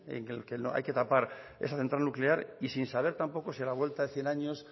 en el que hay que tapar esa central nuclear y sin saber tampoco sí a la vuelta de cien años